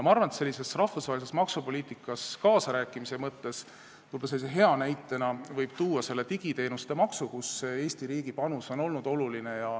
Ma arvan, et rahvusvahelises maksupoliitikas kaasarääkimise hea näitena võib tuua digiteenuste maksu, kus Eesti riigi panus on olnud oluline.